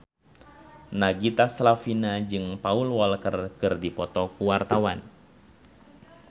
Nagita Slavina jeung Paul Walker keur dipoto ku wartawan